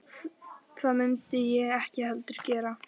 Það mundi ég ekki heldur gera